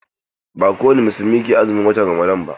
Ba kowani musulmi ke azumin watan Ramadan ba.